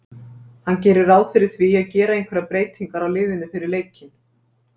Hann gerir ráð fyrir því að gera einhverjar breytingar á liðinu fyrir leikinn.